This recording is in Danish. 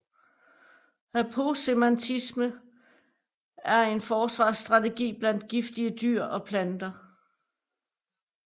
Aposematisme er en forsvarsstrategi blandt giftige dyr og planter